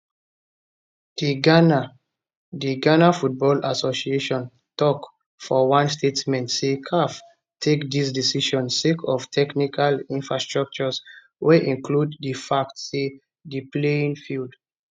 dighana dighana football associationtok for one statement say caf take dis decision sake of technical infractions wey include di fact say di playing field